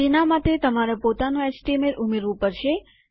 તેના માટે તમારે પોતાનું એચટીએમએલ ઉમેરવું પડશે